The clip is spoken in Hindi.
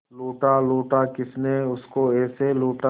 लूटा लूटा किसने उसको ऐसे लूटा